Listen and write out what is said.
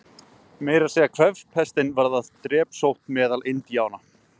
Meira að segja kvefpestin varð drepsótt meðal Indíána.